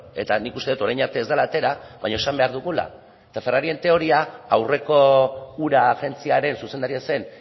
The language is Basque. eta nik uste dut orain arte ez dela atera baina esan behar dugula eta ferrarien teoria aurreko ura agentziaren zuzendaria zen